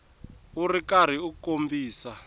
u ri karhi u kombisa